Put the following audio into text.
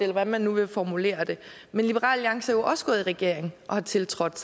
hvordan man nu vil formulere det men liberal alliance også gået i regering og har tiltrådt